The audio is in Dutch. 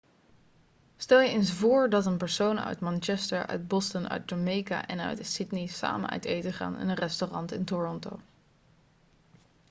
stel je eens voor dat een persoon uit manchester uit boston uit jamaica en uit sydney samen uit eten gaan in een restaurant in toronto